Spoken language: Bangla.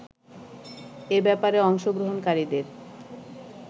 এ ব্যাপারে অংশগ্রহণকারীদের